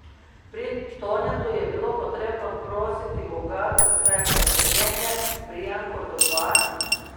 Pri Tonetu je bilo potrebno prositi Boga, da skrajša trpljenje, pri Jankotu pa...